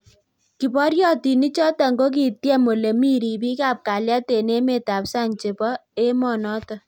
Kiporyotinik chotok kokityem olemii ripik ap kalyet eng emet AP sang chepoo emoo notok